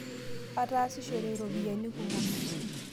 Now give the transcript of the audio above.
ataasishore iropiani kumok